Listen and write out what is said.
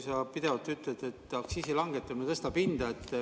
Sa pidevalt ütled, et aktsiisi langetamine tõstab hinda.